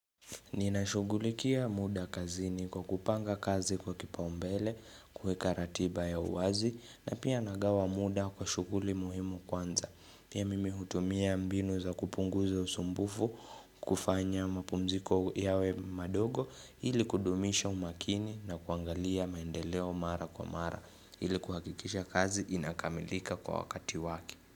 Ninashugulikia muda kazini kwa kupanga kazi kwa kipa umbele, kuweka ratiba ya uwazi na pia nagawa muda kwa shughuli muhimu kwanza. Pia mimi hutumia mbinu za kupunguza usumbufu kufanya mapumziko yawe madogo ili kudumisha umakini na kuangalia maendeleo mara kwa mara ili kuhakikisha kazi inakamilika kwa wakati wake.